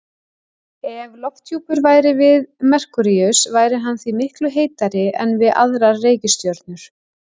Ef lofthjúpur væri við Merkúríus væri hann því miklu heitari en við aðrar reikistjörnur.